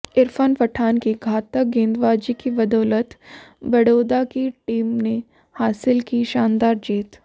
इरफ़ान पठान की घातक गेंदबाज़ी की बदौलत बड़ोदा की टीम ने हासिल की शानदार जीत